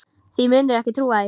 Þú mundir ekki trúa því.